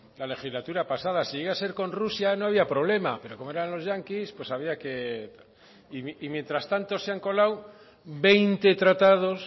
la legislatura pasada si llega a ser con rusia no había problema pero como eran los yanquis pues había que y mientras tanto se han colado veinte tratados